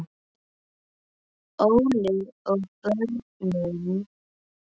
Óli og börnin.